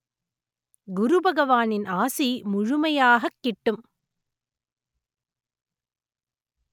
குருபகவானின் ஆசி முழுமையாகக் கிட்டும்